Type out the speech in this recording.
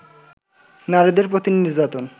নারীদের প্রতি নির্যাতন